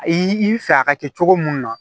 I bɛ fɛ a ka kɛ cogo mun na